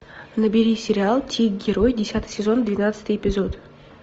набери сериал тик герой десятый сезон двенадцатый эпизод